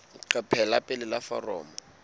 leqephe la pele la foromo